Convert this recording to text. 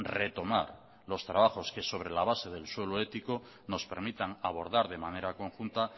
retomar los trabajos que sobre la base del suelo ético nos permitan abordar de manera conjunta